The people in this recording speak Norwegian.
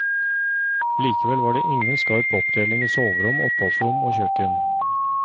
Likevel var det ingen skarp oppdeling i soverom, oppholdsrom og kjøkken.